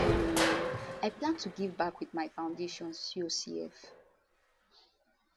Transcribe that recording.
um i plan to give back wit my foundation cocf